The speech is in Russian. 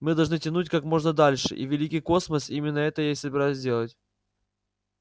мы должны тянуть как можно дольше и великий космос именно это я и собираюсь делать